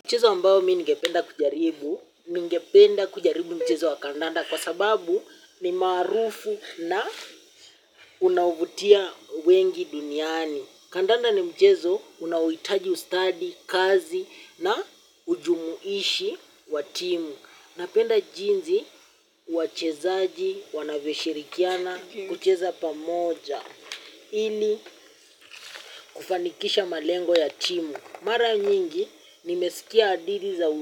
Mchezo ambao mi ningependa kujaribu, ningependa kujaribu mchezo wa kandanda kwa sababu ni maarufu na unaovutia wengi duniani. Kandanda ni mchezo unaohitaji ustadi, kazi na ujumuishi wa timu. Napenda jinzi wachezaji, wanavyoshirikiana, kucheza pamoja. Ili kufanikisha malengo ya timu. Mara nyingi nimesikia hadithi za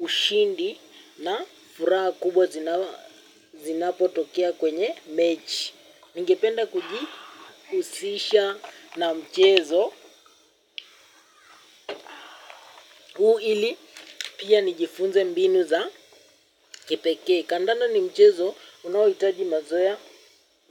ushindi na furaha kubwa zinapo tokea kwenye mechi. Ningependa kuji husisha na mchezo huu ili pia nijifunze mbinu za kepekee. Kandanda ni mchezo unaohitaji mazoeya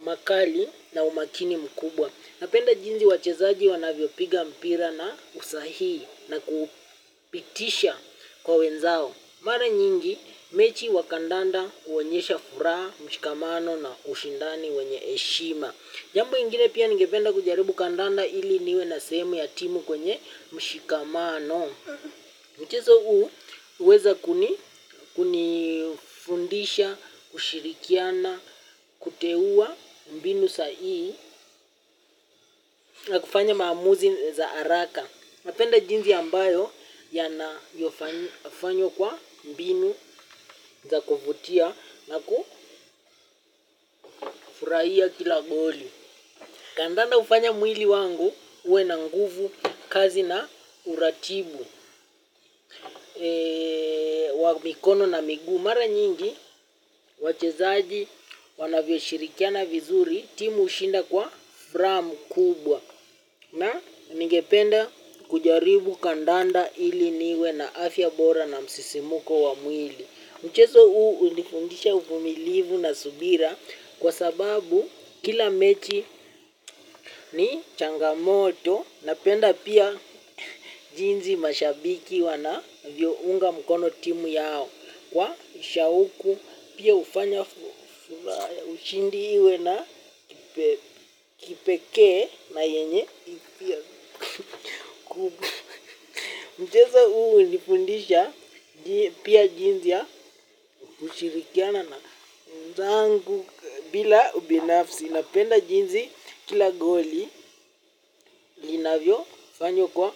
makali na umakini mkubwa. Napenda jinzi wachezaji wanavyo piga mpira na usahihi na kuupitisha kwa wenzao. Mara nyingi, mechi wa kandanda huonyesha furaha, mshikamano na ushindani wenye heshima. Jambo ingine pia ningependa kujaribu kandanda ili niwe na sehemu ya timu kwenye mshikamano. Mchezo huu uweza kuni, kunifundisha, kushirikiana, kuteuwa mbinu sahii na kufanya maamuzi za araka. Napenda jinzi ambayo ya na yofanywa kwa mbinu za kuvutia na kufurahia kila goli. Kandanda hufanya mwili wangu uwe na nguvu kazi na uratibu wa mikono na miguu mara nyingi wachezaji wanavyo shirikiana vizuri timu hushinda kwa furaha mkubwa na ningependa kujaribu kandanda ili niwe na afya bora na msisimuko wa mwili. Mchezo huu hunifundisha uvumilivu na subira kwa sababu kila mechi ni changamoto, napenda pia jinzi mashabiki wanavyo unga mkono timu yao. Kwa ushauku pia hufanya furaha ya ushindi iwe na kipekee na yenye. Mchezo huu hunifundisha pia jinzi ya kushirikiana na wenzangu bila ubinafsi. Napenda jinzi kila goli. Linavyo fanywa kwa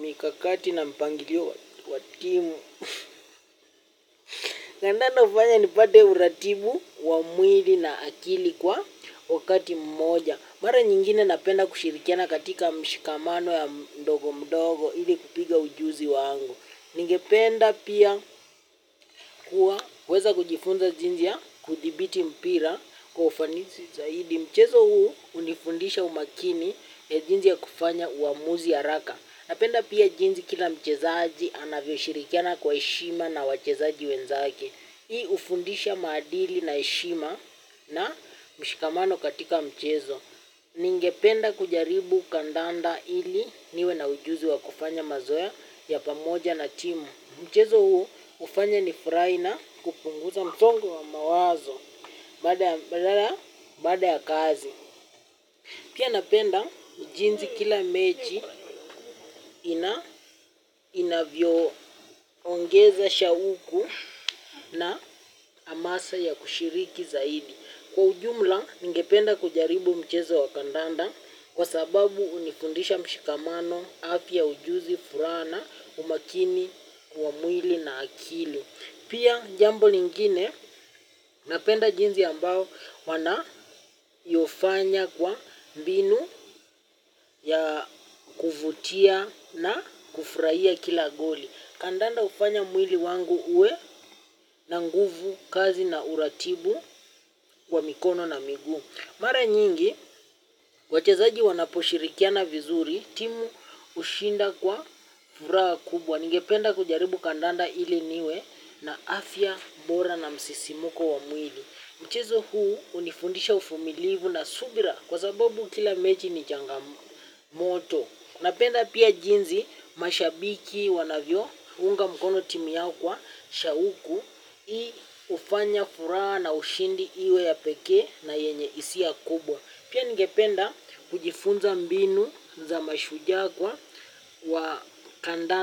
mikakati na mpangilio wa timu. Na tena hufanya nipate uratibu wa mwili na akili kwa wakati mmoja. Mara nyingine napenda kushirikiana katika mshikamano ya mdogo mdogo. Ile kupiga ujuzi wangu. Ningependa pia kuweza kujifunza jinzia kudhibiti mpira kwa ufanizi zaidi. Mchezo huu hunifundisha umakini ya jinzi ya kufanya uamuzi haraka. Napenda pia jinzi kila mchezaji anavyo shirikiana kwa heshima na wachezaji wenzake. Hii hufundisha maadili na heshima na mshikamano katika mchezo. Ningependa kujaribu kandanda ili niwe na ujuzi wa kufanya mazoya ya pamoja na timu. Mchezo huu hufanya ni furahi na kupunguza msongo wa mawazo baada ya kazi. Pia napenda jinzi kila mechi inavyo ongeza shauku na amasa ya kushiriki zaidi. Kwa ujumla ningependa kujaribu mchezo wa kandanda kwa sababu hunifundisha mshikamano afi pia ujuzi furaha na umakini wa mwili na akili. Pia jambo lingine, napenda jinzi ambao wana yofanya kwa mbinu ya kuvutia na kufurahia kila goli. Kandanda hufanya mwili wangu uwe na nguvu kazi na uratibu wa mikono na miguu. Mara nyingi, wachezaji wanaposhirikiana vizuri, timu hushinda kwa furaha kubwa. Ningependa kujaribu kandanda ili niwe na afya bora na msisimuko wa mwili. Mchezo huu hunifundisha uvumilivu na subira kwa sababu kila mechi ni changamoto napenda pia jinsi mashabiki wanvyounga mkono timu yao kwa shauku hii hufanya furaha na ushindi iwe ya pekee na yenye hisia kubwa. Pia ningependa kujifunza mbinu za mashujaa kwa wa kanda.